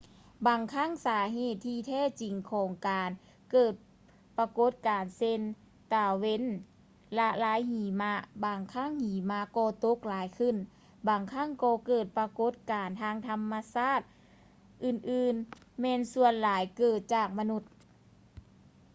ບາງຄັ້ງສາເຫດທີ່ແທ້ຈິງຂອງການເກີດປາກົດການເຊັ່ນ ຕາເວັນລະລາຍຫິມະ ບາງຄັ້ງຫິມະກໍຕົກຫຼາຍຂຶ້ນ ບາງຄັ້ງກໍເກີດປາກົດການທາງທຳມະຊາດອື່ນໆແມ່ນສ່ວນຫຼາຍເກີດຈາກມະນຸດ